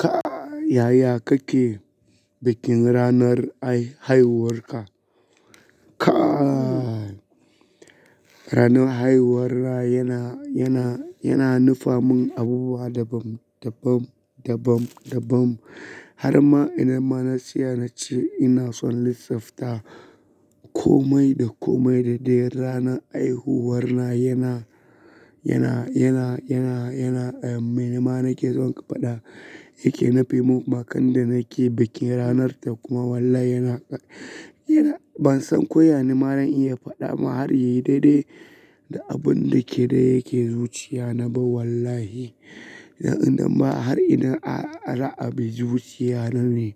Kai yaya kake bikin ranar ai-haihuwarka? Kai ranan haihuwarna yana, yana, yana nufamin abubuwa daban, daban, daban, daban. Har ma idan ma na tsaya na ce ina son lisafta komai da komai da dai ranar haihuwar na yana, yana, yana, yana, yana, eh, mai na nake son faɗa yake nufi. Ma kanda nake bikin ranar ta kuma wallahi yana, yana ban san ko ya nima zan iya faɗa ma har ya yi daidai da abun da ke dai yake zuciya na ba wallahi. Na'am ma har ina a, ra'abi zuciya na ne.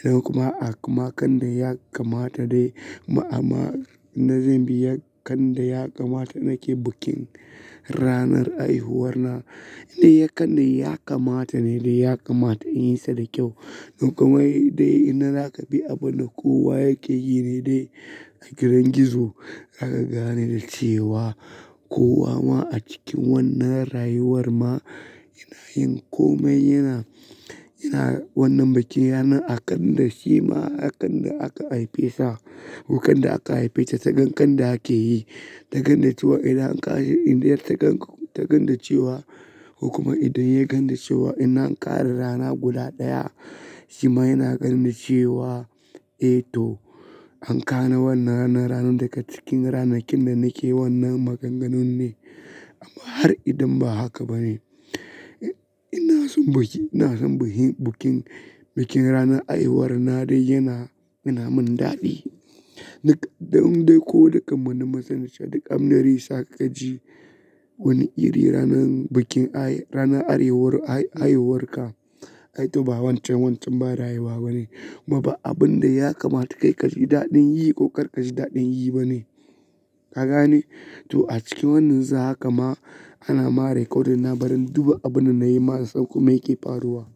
Idan kuma a kuma kanda ya kamata dai ma amma na zan bi ya kanda ya kamata nake bikin ranar haihuwar na. Inda ya kanda ya kamata ne dai ya kamata in yi sa da kyau. Duk kuma dai ina za ka bi abin da kowa yake yi ne dai a gidan gizo aka gane da cewa kowa ma a cikin wannan rayuwar ma ina yin komai yana, yana wannan bikin yana a kan da shi ma a kan da aka haife sa ko kan da aka haife ta ta ganda ake yi. Ta ganda cewa idan ƙashi indiya ta ganda cewa, kuma idan ya ganda cewa ina ƙara rana guda ɗaya, shi ma yana ganne cewa, "Eh to an ƙara wannan ranar." Ranar daga cikin ranakin da nake wannan maganganun ne amma har idan ba haka ba ne. Ina son biki, ina son bikin, bikin ranar haihuwar na dai yana, yana mun daɗi. Ni kaɗai ko da kamanni masu nisa, duk aminari sakaji wani iri ranar haihuwar ka ai to ba wancan, wancan ba rayuwa ba ne. Kuma kai abinda ya kamata kaji dadin yibane. Kagane? To a cikin wannan za haka ma ana ma recordung na bari duba abin da na yi ma sau kuma yake faruwa.